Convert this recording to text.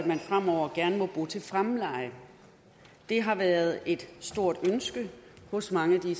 man fremover gerne må bo til fremleje det har været et stort ønske hos mange af dem